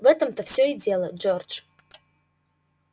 в этом-то всё и дело джордж